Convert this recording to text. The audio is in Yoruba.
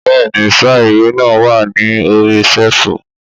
Bẹ́ẹ̀ni sà, ìwé náà wa ní orí séèfù